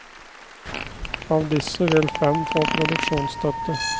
Av disse vil fem få produksjonsstøtte.